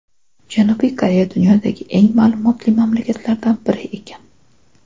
Janubiy Koreya dunyodagi eng ma’lumotli mamlakatlardan bir ekan.